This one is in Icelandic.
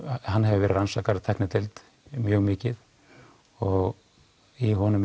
hann hefur verið rannsakaður af tæknideild mjög mikið og í honum